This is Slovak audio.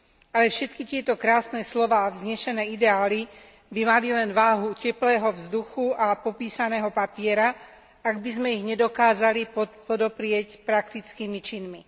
Ale všetky tieto krásne slová a vznešené ideály by mali len váhu teplého vzduchu a popísaného papiera, ak by sme ich nedokázali podoprieť praktickými činmi.